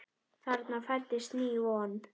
Þarna fæddist ný von.